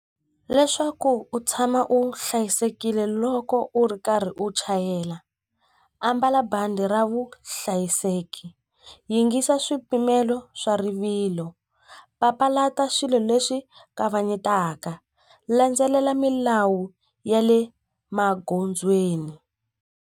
Leswaku u tshama u hlayisekile loko u ri karhi u chayela ambala bandi ra vuhlayiseki yingisa swipimelo swa rivilo papalata swilo leswi kavanyetaka landzelela milawu ya le magondzweni.